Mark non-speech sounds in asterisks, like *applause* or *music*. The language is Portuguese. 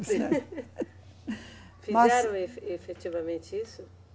*laughs* Fizeram efe, efetivamente isso?